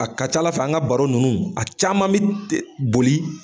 A ka ca ALA fɛ an ka baro ninnu a caman bi boli.